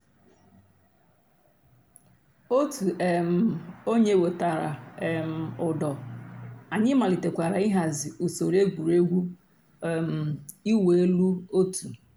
ọ̀tù um ònyè wètàrà um ǔ́dọ̀ ànyị̀ màlítèkwàrà íhàzì ǔsòrò ègwè́régwụ̀ um ị̀wụ̀ èlù ọ̀tù.